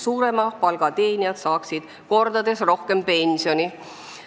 Suurema palga teenijad saaksid selle süsteemi abil mitu korda rohkem pensioni.